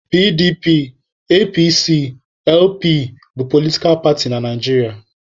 PDP, APC, LP bụ politkal paatị na Naijiria.